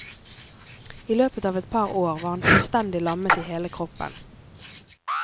I løpet av et par år var han fullstendig lammet i hele kroppen.